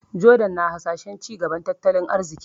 Jordan na hasashen cigaban tattalin arziki.